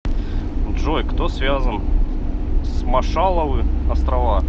джой кто связан с маршалловы острова